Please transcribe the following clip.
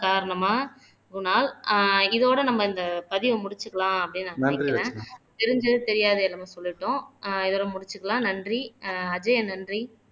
காரணமா குணால் ஆஹ் இதோட நம்ம இந்த பதிவை முடிச்சுக்கலாம் அப்படின்னு நெனைக்குற தெரிஞ்சது தெரியாது என்னமோ சொல்லிட்டோம் இதோட முடிச்சுக்கலாம் நன்றி ஆஹ் அஜயன் நன்றி